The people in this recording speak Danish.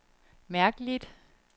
mærkeligt